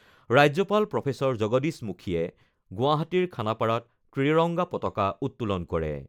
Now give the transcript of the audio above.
ৰাজ্যপাল প্ৰফেচৰ জগদীশ মুখীয়ে গুৱাহাটীৰ খানাপাৰাত ত্ৰিৰংগা পতাকা উত্তোলন কৰে।